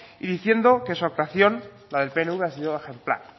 y diciendo que su actuación la del pnv ha sido ejemplar